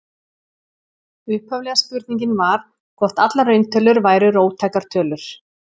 Upphaflega spurningin var hvort allar rauntölur væru róttækar tölur.